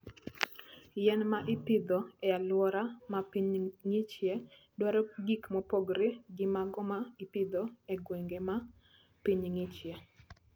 Yien ma ipidho e alwora ma piny ng'ichie, dwaro gik mopogore gi mago ma ipidho e gwenge ma piny ng'ichie.